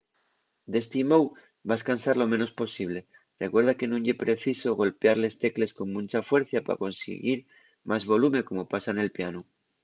d’esti mou vas cansar lo menos posible recuerda que nun ye preciso golpiar les tecles con muncha fuercia pa consiguir más volume como pasa nel pianu